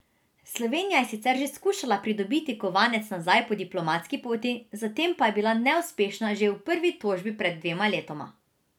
Slovenija je sicer že skušala pridobiti kovanec nazaj po diplomatski poti, zatem pa je bila neuspešna že v prvi tožbi pred dvema letoma.